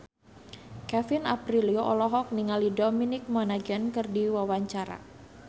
Kevin Aprilio olohok ningali Dominic Monaghan keur diwawancara